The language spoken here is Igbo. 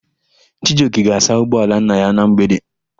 Chijioke ga-asa ụgbọala nna ya na mgbede.